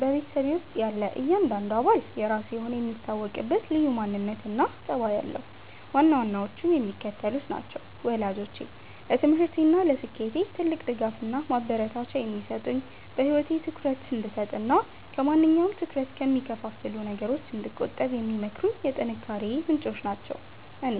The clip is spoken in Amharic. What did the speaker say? በቤተሰቤ ውስጥ ያለ እያንዳንዱ አባል የራሱ የሆነ የሚታወቅበት ልዩ ማንነትና ጠባይ አለው፤ ዋና ዋናዎቹም የሚከተሉት ናቸው፦ ወላጆቼ፦ ለትምህርቴና ለስኬቴ ትልቅ ድጋፍና ማበረታቻ የሚሰጡኝ፣ በህይወቴ ትኩረት እንድሰጥና ከማንኛውም ትኩረት ከሚከፋፍሉ ነገሮች እንድቆጠብ የሚመክሩኝ የጥንካሬዬ ምንጮች ናቸው። እኔ፦